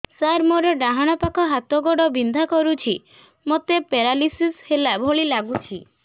ସାର ମୋର ଡାହାଣ ପାଖ ହାତ ଗୋଡ଼ ବିନ୍ଧା କରୁଛି ମୋତେ ପେରାଲିଶିଶ ହେଲା ଭଳି ଲାଗୁଛି